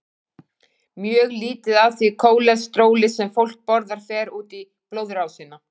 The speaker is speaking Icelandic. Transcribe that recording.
Mjög lítið af því kólesteróli sem fólk borðar fer út í blóðrásina.